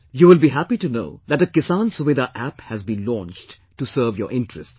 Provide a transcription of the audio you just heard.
You will be happy to learn that a 'Kisan Suvidha App' has been launched to serve your interests